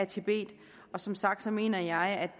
tibet som sagt mener jeg at